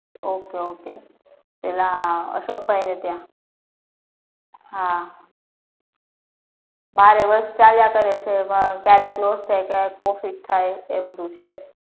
okay okay પેલા અશોકભાઈ મી ત્યાં હા બારે વર્ષ ચાલ્યા કરે છે એમાં ક્યારેક loss થાય ક્યારે profit થાય એ બધુ છે